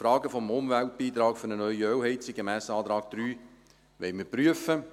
Die Frage des Umweltbeitrags für eine neue Ölheizung gemäss Antrag 3 wollen wir prüfen.